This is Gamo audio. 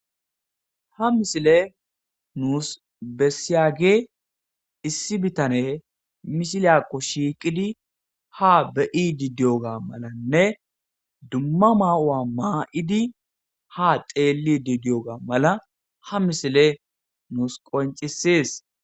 Ha misiley nus beessiyagey issi bitaney misiliyakko shiiqidi haa be'idi diyoga malanne dumma mayuwa ma'idi haa xeellidi diyoga mala ha misiley nus qonccises.